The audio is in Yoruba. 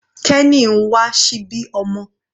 Kenny ń wà síbí ọmọ.